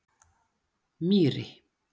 Mýri